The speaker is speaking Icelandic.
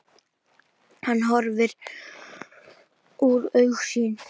Hann var horfinn úr augsýn.